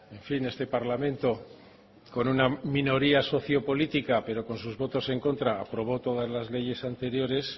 en fin este parlamento con una minoría socio política pero con sus votos en contra aprobó todas las leyes anteriores